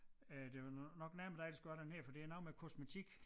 Øh det var nok nærmere dig der skulle have den her for det er noget med kosmetik